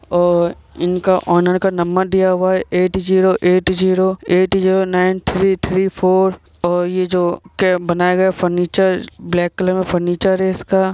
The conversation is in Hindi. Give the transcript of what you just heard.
और इनका ओनर का नंबर दिया हुआ है eight zero eight zero eight zero nine three three four और ये जो कैम्प बनाया गया है फर्निचर ब्लैक कलर मे फर्निचर है इसका।